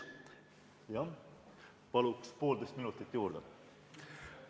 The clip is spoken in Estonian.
Palun poolteist minutit juurde!